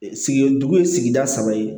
Sigi dugu ye sigida saba ye